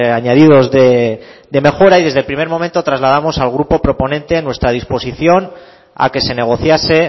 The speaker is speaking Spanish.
añadidos de mejora y desde el primer momento trasladamos al grupo proponente nuestra disposición a que se negociase